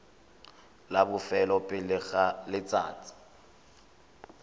la bofelo pele ga letsatsi